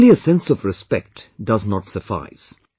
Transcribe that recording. Only a sense of respect does not suffice